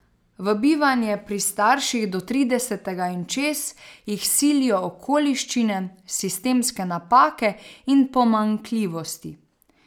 V bivanje pri starših do tridesetega in čez jih silijo okoliščine, sistemske napake in pomanjkljivosti.